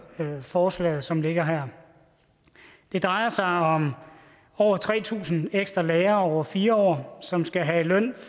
forslaget som ligger her det drejer sig om over tre tusind ekstra lærere over fire år som skal have løn